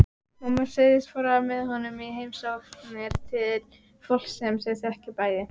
Mamma segist fara með honum í heimsóknir til fólks sem þau þekkja bæði.